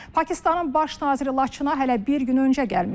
Pakistanın baş naziri Laçına hələ bir gün öncə gəlmişdi.